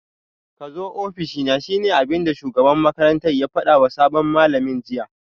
Kazo ofishina shine abinda shugaban makarantar ya fadawa sabon malamin jiya